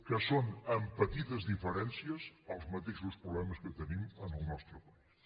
que són amb petites diferències els mateixos problemes que tenim en el nostre país